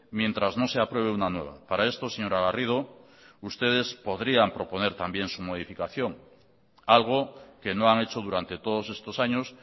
mientras no se apruebe una nueva para esto señora garrido ustedes podrían proponer también su modificación algo que no han hecho durante todos estos años